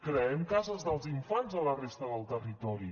creem cases dels infants a la resta del territori